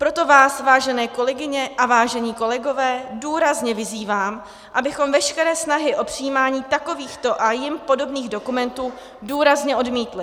Proto vás, vážené kolegyně a vážení kolegové, důrazně vyzývám, abychom veškeré snahy o přijímání takovýchto a jim podobných dokumentů důrazně odmítli!